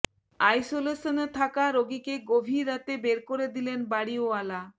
আইসোলেশনে থাকা রোগীকে গভীর রাতে বের করে দিলেন বাড়িওয়ালা